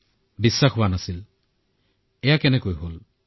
প্ৰথমেতো বিশ্বাসেই হোৱা নাছিল যে এয়া কেনেকৈ হল